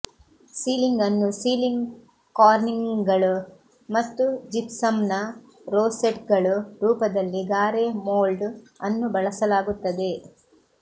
ceiling ಅನ್ನು ceiling ಕಾರ್ನಿಂಗ್ಗಳು ಮತ್ತು ಜಿಪ್ಸಮ್ನ ರೋಸೆಟ್ಗಳು ರೂಪದಲ್ಲಿ ಗಾರೆ ಮೊಲ್ಡ್ ಅನ್ನು ಬಳಸಲಾಗುತ್ತದೆ